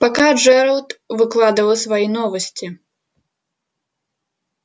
пока джералд выкладывал свои новости